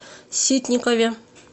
ситникове